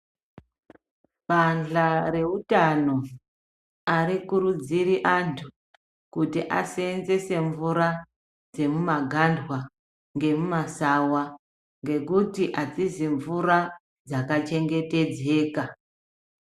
Bandla reutano arikudziri antu kuti aseenzese mvura dzemumagandwa ngemuma sawa ngekuti adzizi mvura dzakachengetedzeka.